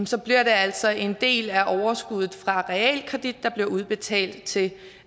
så bliver det altså en del af overskuddet fra realkreditten der bliver udbetalt til